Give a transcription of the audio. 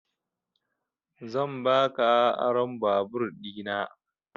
Zan baka ron vaabur ɗina